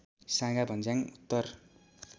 साँगा भञ्ज्याङ उत्तर